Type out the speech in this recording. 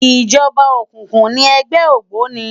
Ijòba ókúkú ni ègbè ógbóni